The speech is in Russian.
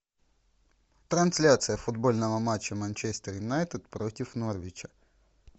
трансляция футбольного матча манчестер юнайтед против норвича